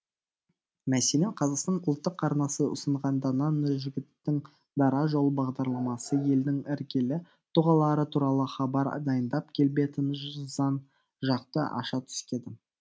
мәселен қазақстан ұлттық арнасы ұсынған дана нұржігіттің дара жол бағдарламасы елдің іргелі тұғалары туралы хабар дайындап келбетін жзан жақты аша түскеді